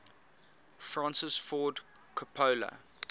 francis ford coppola